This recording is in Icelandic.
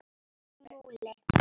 Jón Múli